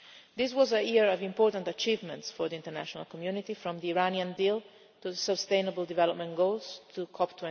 our age. This was a year of important achievements for the international community, from the Iranian deal to the sustainable development goals,